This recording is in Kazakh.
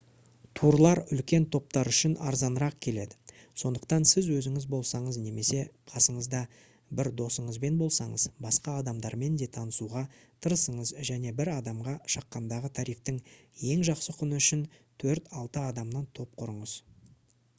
турлар үлкен топтар үшін арзанырақ келеді сондықтан сіз өзіңіз болсаңыз немесе қасыңызда бір досыңызбен болсаңыз басқа адамдармен де танысуға тырысыңыз және бір адамға шаққандағы тарифтің ең жақсы құны үшін төрт-алты адамнан топ құрыңыз